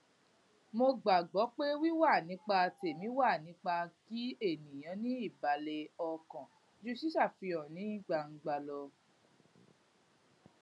mo gbàgbó pé wíwà nípa tẹmí wà nipa kí ènìyàn ní ìbàlè ọkàn ju ṣíṣàfihàn ní gbangba lọ